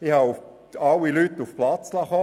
Alle Leute waren auf den Platz bestellt.